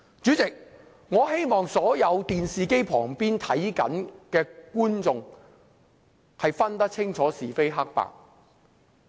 主席，我希望所有正在電視機旁觀看直播的觀眾能辨清是非黑白。